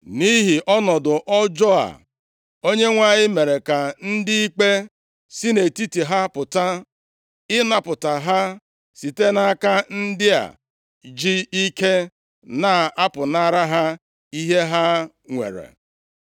Nʼihi ọnọdụ ọjọọ a, Onyenwe anyị mere ka ndị ikpe sị nʼetiti ha pụta, ịnapụta ha site nʼaka ndị a ji ike na-apụnara ha ihe ha nwere.